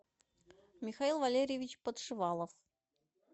михаил валерьевич подшивалов